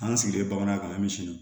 An sigilen bamanankan bɛ misiri